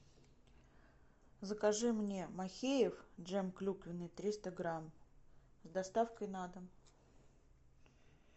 закажи мне махеев джем клюквенный триста грамм с доставкой на дом